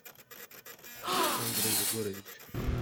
андрей егорович